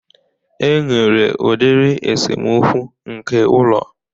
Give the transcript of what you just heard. E nwere udiri esemokwu nke ụlọ